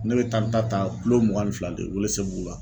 Ne bɛ taa n ta ta mugan ni fila de Ouéléssébougou la.